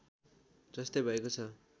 जस्तै भएको छ